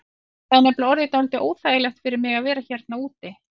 Það er nefnilega orðið dálítið óþægilegt fyrir mig að vera hérna úti.